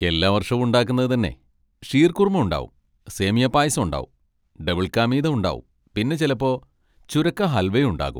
എല്ലാ വർഷവും ഉണ്ടാക്കുന്നത് തന്നെ, ഷീർകുർമ ഉണ്ടാവും, സേമിയ പായസം ഉണ്ടാവും, ഡബിൾ കാ മീത ഉണ്ടാവും, പിന്നെ ചെലപ്പോ ചുരക്ക ഹൽവയും ഉണ്ടാകും.